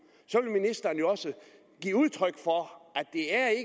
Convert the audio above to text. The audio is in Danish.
ministeren jo også give udtryk for at